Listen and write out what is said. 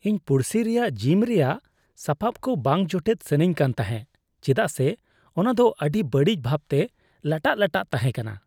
ᱤᱧ ᱯᱩᱲᱥᱤ ᱨᱮᱭᱟᱜ ᱡᱤᱢ ᱨᱮᱭᱟᱜ ᱥᱟᱯᱟᱯ ᱠᱚ ᱵᱟᱝ ᱡᱚᱴᱮᱫ ᱥᱟᱱᱟᱧ ᱠᱟᱱ ᱛᱟᱦᱮᱸᱜ ᱪᱮᱫᱟᱜ ᱥᱮ ᱚᱱᱟ ᱫᱚ ᱟᱹᱰᱤ ᱵᱟᱹᱲᱤᱡ ᱵᱷᱟᱵᱽᱛᱮ ᱞᱟᱴᱟᱜᱼᱞᱟᱴᱟᱜ ᱛᱟᱦᱮᱸᱠᱟᱱᱟ ᱾